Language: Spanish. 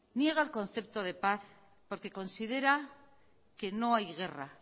niega el concepto de paz porque considera que no hay guerra